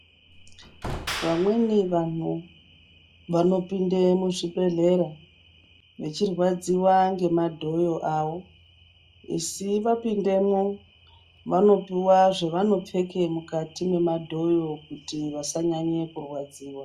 Vamweni vanhu vanopinde muzvibhehlera vechirwadziwa ngemadhoyo avo esi vapindemwo vanopuwa zvevanopfeke mukati mwemadhoyo kuti vasanyanye kurwadziwa.